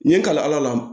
N ye kalifa ala